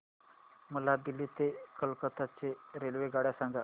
मला दिल्ली ते कोलकता च्या रेल्वेगाड्या सांगा